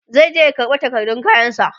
zai je ya karɓa takardun kayan sa